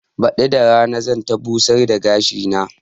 Baɗi da rana zan ta busar da gashi na